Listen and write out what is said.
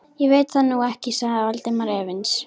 Ég veit það nú ekki sagði Valdimar efins.